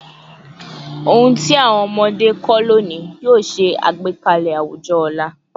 Ohun ti awọn ọmọde kọ loni yoo ṣe agbekalẹ awujọ ọla